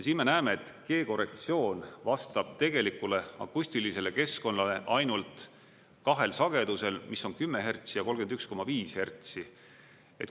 Siin me näeme, et G-korrektsioon vastab tegelikule akustilisele keskkonnale ainult kahel sagedusel, mis on 10 hertsi ja 31,5 hertsi.